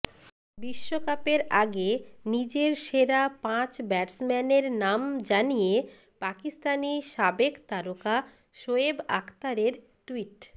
বিশ্বকাপের আগে নিজের সেরা পাঁচ ব্যাটসম্যানের নাম জানিয়ে পাকিস্তানি সাবেক তারকা শোয়েব আখতারের টুইট